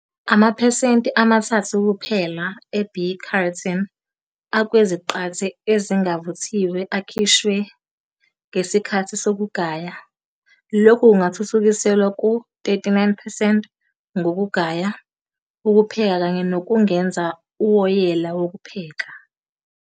Amaphesenti ama-3 kuphela e- β-carotene akweziqathe ezingavuthiwe akhishwa ngesikhathi sokugaya- lokhu kungathuthukiselwa ku-39 percent ngokugaya, ukupheka kanye nokungeza uwoyela wokupheka.